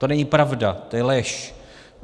To není pravda, to je lež.